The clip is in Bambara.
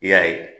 I y'a ye